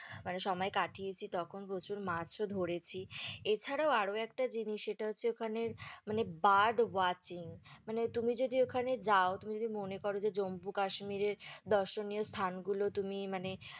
মানে সময় কাটিয়েছি তখন প্রচুর মাছও ধরেছি, এছাড়াও আরও একটা জিনিস যেটা হচ্ছে ওখানের মানে bird watching মানে তুমি যদি ওখানে যাও, তুমি যদি মনে করো যে জম্বু কাশ্মীরে দর্শনীয় স্থানগুলো তুমি মানে